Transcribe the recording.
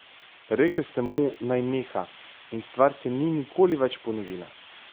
Rekel sem mu, naj neha, in stvar se ni nikoli več ponovila.